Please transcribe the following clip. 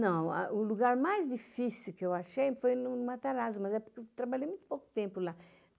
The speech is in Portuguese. Não, o lugar mais difícil que eu achei foi no Matarazzo, mas é porque eu trabalhei muito pouco tempo lá.